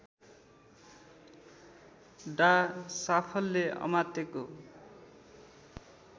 डा साफल्य अमात्यको